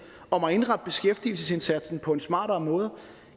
om at indrette beskæftigelsesindsatsen på en smartere måde